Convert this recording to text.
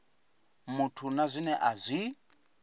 muthu na zwine a zwi